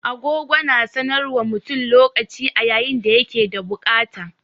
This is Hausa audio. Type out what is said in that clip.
Agogo na sanar wa mutum lokaci a yayin da ya ke da bukata.